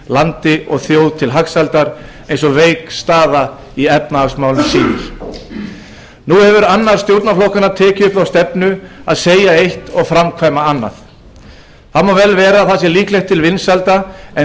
landi og þjóð til hagsældar eins og veik staða í efnahagsmálum segir nú hefur annar stjórnarflokkanna tekið upp þá stefnu að segja eitt og framkvæma annað það má vel vera að það sé líklegt til vinsælda en